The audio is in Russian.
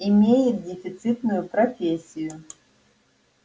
имеет дефицитную профессию